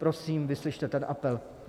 Prosím, vyslyšte ten apel.